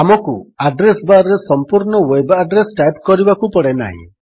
ଆମକୁ address bar ରେ ସମ୍ପୂର୍ଣ୍ଣ ୱେବ୍ ଆଡ୍ରେସ୍ ଟାଇପ୍ କରିବାକୁ ପଡ଼େନାହିଁ